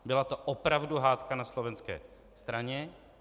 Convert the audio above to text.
Byla to opravdu hádka na slovenské straně.